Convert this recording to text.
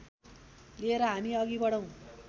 लिएर हामी अघि बढौँ